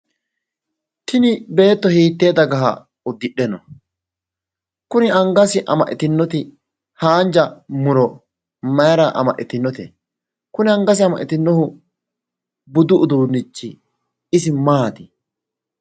Tini beetto hiittee dagaha uddidhe no? Kuni angase amaxxitinoti haanja muro mayira amaxxitinote? Kuni angase amaxxitinohu budu uduunnichi isi maati?